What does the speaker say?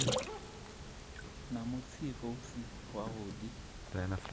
na mutsiko u si wavhuḓi